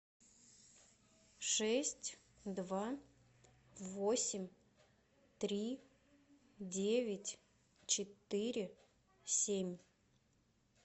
шесть два восемь три девять четыре семь